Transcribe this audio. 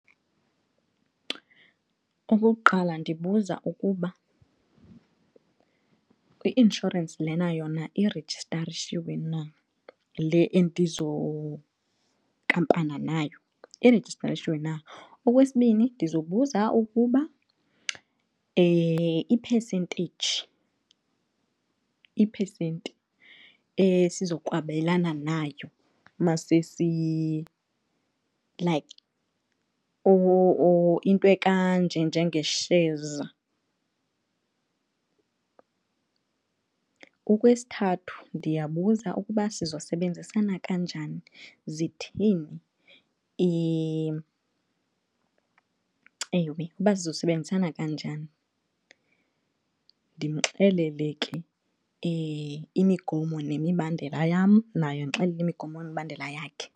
Okokuqala, ndibuza ukuba le i-inshorensi lena yona irejistarishiwe nale endizonkampana nayo irejistarishiwe na. Okwesibini, ndizobuza ukuba i-percentage iphesenti esizokwabelana nayo masesi, like, or into ekanje njenge-shares. Okwesithathu, ndiyabuza ukuba sizosebenzisana kanjani zithini ewe, uba sizosebenzisana kanjani ndimxelele ke imigomo nemibandela yam nayo andixelele imigomo nemibandela yakhe.